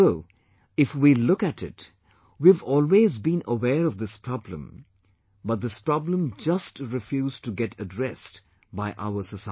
Although if we look at it, we have always been aware of this problem, but this problem just refused to get addressed by our society